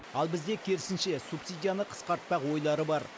ал бізде керісінше субсидияны қысқартпақ ойлары бар